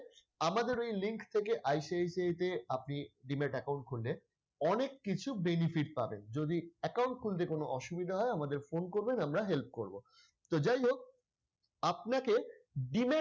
আমাদের এই link থেকে ICICI তে আপনি demat account খুললে অনেককিছু benefit পাবেন যদি account খুলতে কোনো অসুবিধা হয় আমাদের phone করবেন আমরা help করব তো যাই হোক আপনাকে demat